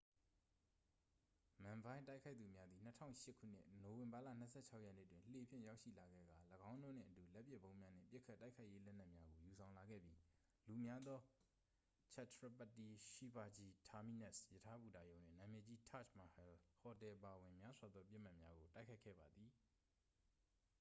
မန်ဘိုင်း တိုက်ခိုက်သူများသည် 2008 ခုနှစ် နိုဝင်ဘာလ 26 ရက်နေ့တွင် လှေဖြင့် ရောက်ရှိလာခဲ့ကာ ၎င်းတို့နှင့်အတူ လက်ပစ်ဗုံးများနှင့် ပစ်ခတ်တိုက်ခိုက်ရေးလက်နက်များကို ယူဆောင်လာခဲ့ပြီး လူများသော chhatrapati shivaji terminus ရထားဘူတာရုံနှင့် နာမည်ကြီး taj mahal ဟိုတယ်အပါအဝင် များစွာသောပစ်မှတ်များကို တိုက်ခိုက်ခဲ့ပါသည်